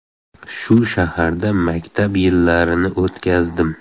Shu shaharda maktab yillarini o‘tkazdim.